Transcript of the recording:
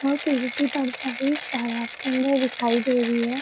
और पेड़ की परछाई उसे तालाब के अंदर दिखाई दे रही है।